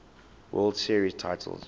world series titles